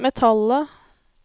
metallet